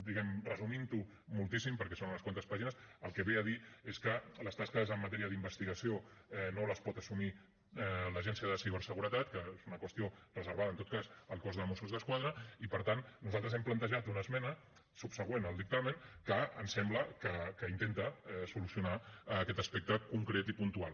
diguem ne resumint ho moltíssim perquè són unes quantes pàgines el que ve a dir és que les tasques en matèria d’investigació no les pot assumir l’agència de ciberseguretat que és una qüestió reservada en tot cas al cos de mossos d’esquadra i per tant nosaltres hem plantejat una esmena subsegüent al dictamen que em sembla que intenta solucionar aquest aspecte concret i puntual